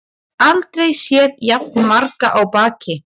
Aldrei séð jafn marga á baki